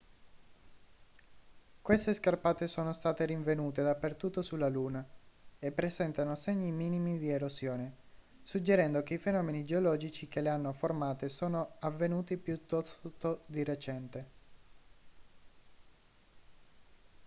queste scarpate sono state rinvenute dappertutto sulla luna e presentano segni minimi di erosione suggerendo che i fenomeni geologici che le hanno formate sono avvenuti piuttosto di recente